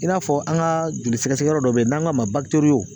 I n'a fɔ an ga joli sɛgɛsɛgɛ yɔrɔ dɔ be yen n'an k'a ma bakitoriyo